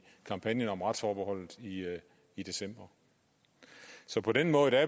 kampagnen om retsforbeholdet i december så på den måde er